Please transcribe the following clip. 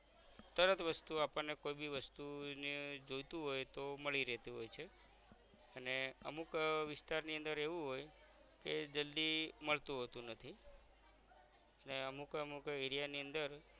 તરત વસ્તુ આપણને કોઈ બી વસ્તુ ને જોઈતું હોય તોહ મળી રેહતુ હોય છે અને અમુક વિસ્તારની અંદર એવું હોય કે જલ્દી મળતું હોતું નથી ને અમુક અમુક area ની અંદર